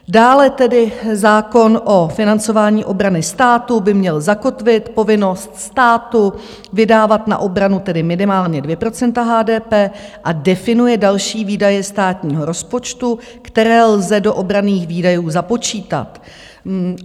Dále tedy zákon o financování obrany státu by měl zakotvit povinnost státu vydávat na obranu tedy minimálně 2 % HDP a definuje další výdaje státního rozpočtu, které lze do obranných výdajů započítat.